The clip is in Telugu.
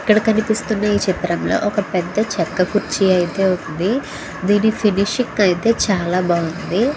ఇక్కడ కనిపిస్తూన ఈ చిత్రం లో ఒక పెద్ద చేక్క కూర్చి అయితే ఉంది దీని ఫినిషింగ్ అయితే చాలా బాగుంది.